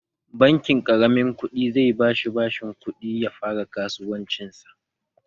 Bankin ƙaramin ƙudi zai bashi bashin kuɗi ya fara kasuwancinsa